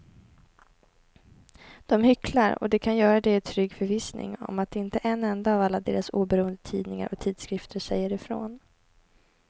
De hycklar och de kan göra det i trygg förvissning om att inte en enda av alla deras oberoende tidningar och tidskrifter säger ifrån.